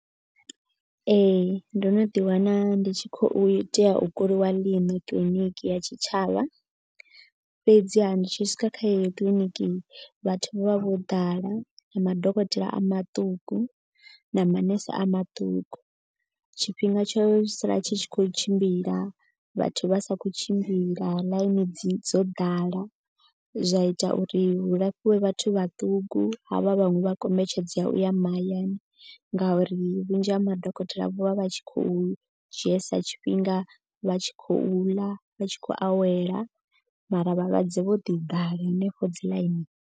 Ee ndo no ḓi wana ndi tshi khou tea u kuliwa ḽiṋo kiḽiniki ya tshitshavha. Fhedziha ndi tshi swika kha yeyo kiḽiniki vhathu vho vha vho ḓala na madokotela a maṱuku na manese a maṱuku. Tshifhinga tsho sala tshi tshi khou tshimbila vhathu vha sa khou tshimbila ḽaini dzi dzo ḓala. Zwa ita uri hu lafhiwe vhathu vhaṱuku havha vhaṅwe vha kombetshedzea u ya mahayani. Ngauri vhunzhi ha madokotela vho vha vha tshi khou dzhielesa tshifhinga vha tshi khou ḽa vha tshi khou awela. Mara vhalwadze vho ḓi ḓala henefho dzi ḽaini.